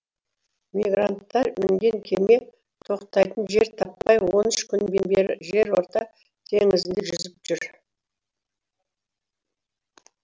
мигранттар мінген кеме тоқтайтын жер таппай он үш күннен бері жерорта теңізінде жүзіп жүр